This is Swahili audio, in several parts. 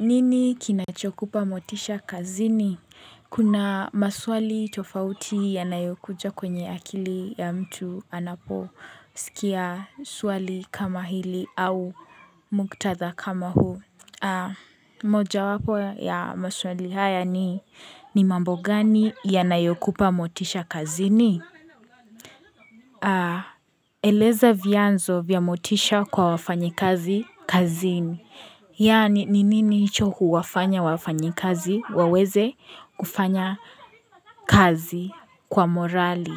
Nini kinachokupa motisha kazini? Kuna maswali tofauti yanayokuja kwenye akili ya mtu anaposikia swali kama hili au mkutadha kama huu. Mojawapo ya maswali haya ni, ni mambo gani yanayokupa motisha kazini? Eleza vianzo vya motisha kwa wafanyikazi kazini. Yaani, ni nini hicho huwafanya wafanyi kazi, waweze kufanya kazi kwa morali?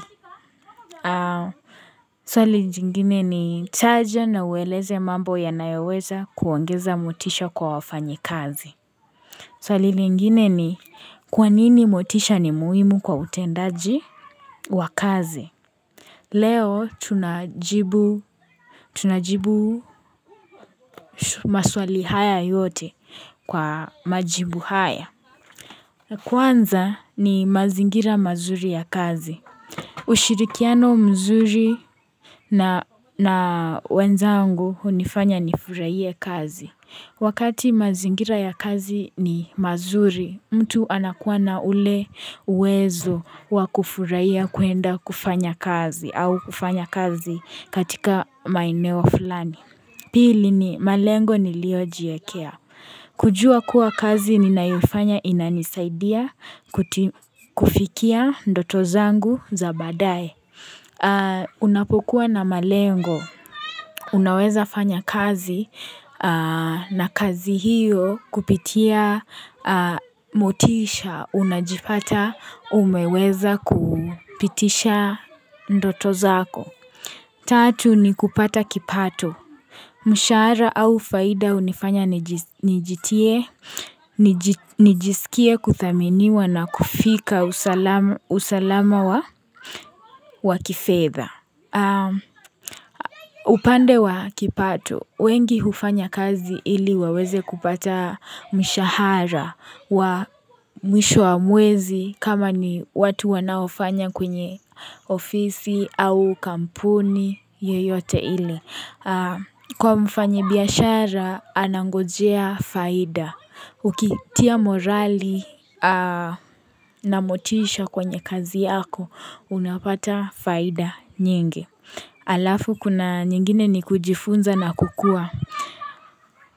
Swali zingine ni taja na uweleze mambo ya nayoweza kuongeza motisha kwa wafanyi kazi. Swali ngini ni, kwa nini motisha ni muhimu kwa utendaji wa kazi? Leo, tunajibu tunajibu maswali haya yote kwa majibu haya. Kwanza ni mazingira mazuri ya kazi. Ushirikiano mzuri na na wenzangu hunifanya nifurahie kazi. Wakati mazingira ya kazi ni mazuri, mtu anakuwa na ule uwezo wakufurahia kuenda kufanya kazi au kufanya kazi katika maeneo fulani. Pili ni malengo niliojiekea kujua kuwa kazi ninayofanya inanisaidia kuti kufikia ndoto zangu za badaaye. Unapokuwa na malengo. Unaweza fanya kazi na kazi hiyo kupitia motisha. Unajipata umeweza kupitisha ndoto zako. Tatu ni kupata kipato. Mshahara au faida hunifanya niji nijitie, niji nijisikie kuthaminiwa na kufika usalama wa kifedha. Upande wa kipato, wengi hufanya kazi ili waweze kupata mishahara wa misho wa mwezi kama ni watu wanaofanya kwenye ofisi au kampuni yoyote ile. Kwa mfanyi biyashara anangojea faida Ukitia morali na motisha kwenye kazi yako unapata faida nyingi Alafu kuna nyingine ni kujifunza na kukua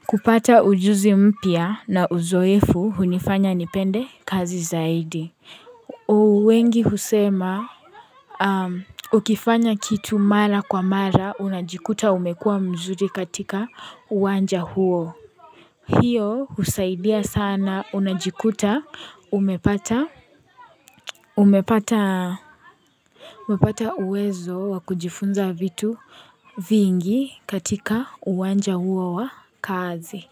kupata ujuzi mpya na uzoefu hunifanya nipende kazi zaidi wengi husema Ukifanya kitu mara kwa mara unajikuta umekua mzuri katika uwanja huo Hio husaidia sana unajikuta umepata umepata umepata uwezo wakujifunza vitu vingi katika uwanja huo wa kazi.